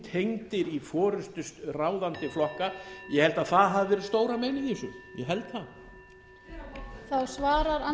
inntengdir í forustu ráðandi flokka ég held að það hafi verið stóra meinið í þessu ég held það